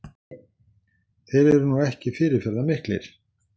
Þeir eru nú ekki fyrirferðarmiklir